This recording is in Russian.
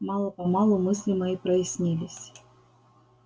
мало-помалу мысли мои прояснились